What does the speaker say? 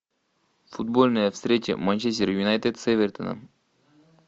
футбольная встреча манчестер юнайтед с эвертоном